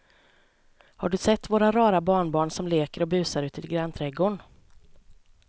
Har du sett våra rara barnbarn som leker och busar ute i grannträdgården!